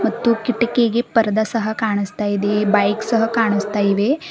ಮತ್ತು ಕೀಟಕಿಗೆ ಪರ್ದ ಸಹ ಕಾಣಾಸ್ತ ಇದೆ ಬೈಕ್ ಸಹ ಕಾಣಾಸ್ತಾ ಇವೆ.